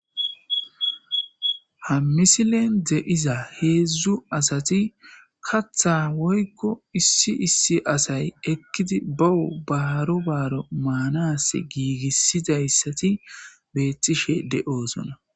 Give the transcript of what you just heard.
hammisilen de7iza heedzdzu asati katha woykko issi issi asay ekkidi bawu baaro baaro maanas giigissidayssati bettishe de7osona